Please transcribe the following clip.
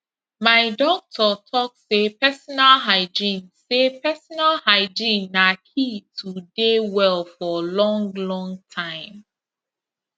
my doctor talk say personal hygiene say personal hygiene na key to dey well for long long time